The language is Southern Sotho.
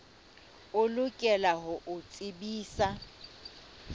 o lokela ho o tsebisa